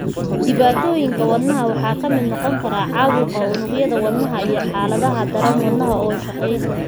Dhibaatooyinka wadnaha waxaa ka mid noqon kara caabuqa unugyada wadnaha iyo xaaladaha daran, wadnaha oo shaqayn.